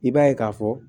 I b'a ye k'a fɔ